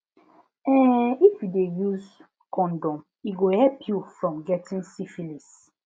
um if u de use condom e go help u from getting syphilis